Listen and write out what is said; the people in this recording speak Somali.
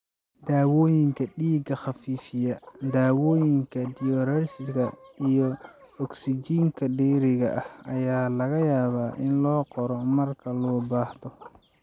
Daawooyinka dhiiga khafiifiya, dawooyinka diuretics, iyo ogsijiinta dheeriga ah ayaa laga yaabaa in loo qoro marka loo baahdo.